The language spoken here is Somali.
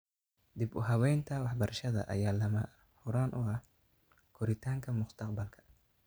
Dib-u-habaynta waxbarashada ayaa lama huraan u ah koritaanka mustaqbalka ee .